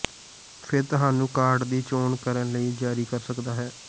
ਫਿਰ ਤੁਹਾਨੂੰ ਕਾਟ ਦੀ ਚੋਣ ਕਰਨ ਲਈ ਜਾਰੀ ਕਰ ਸਕਦਾ ਹੈ